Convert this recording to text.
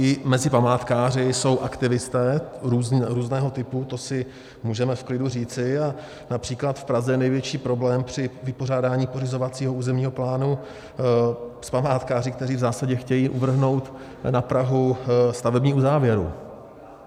I mezi památkáři jsou aktivisté různého typu, to si můžeme v klidu říci, a například v Praze je největší problém při vypořádání pořizovacího územního plánu s památkáři, kteří v zásadě chtějí uvrhnout na Prahu stavební uzávěru.